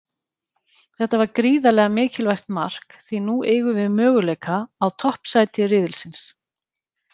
Þetta var gríðarlega mikilvægt mark því nú eigum við möguleika á toppsæti riðilsins.